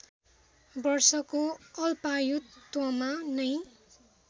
वर्षको अल्पायुत्वमा नै